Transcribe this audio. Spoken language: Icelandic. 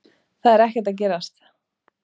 Það er ekkert að gerast